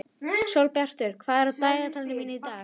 Sólbjartur, hvað er á dagatalinu mínu í dag?